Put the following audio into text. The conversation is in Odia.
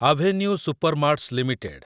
avenue supermarts limited